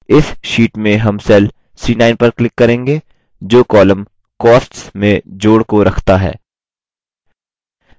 इस sheet में हम cell c9 पर click करेंगे जो column costs में जोड़ को रखता है